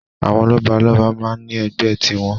Àwọn lọ́balọ́ba máa ń ní ẹgbẹ́ tiwọn.